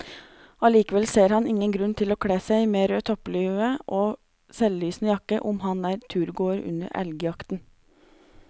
Allikevel ser han ingen grunn til å kle seg med rød topplue og selvlysende jakke om man er turgåer under elgjakten.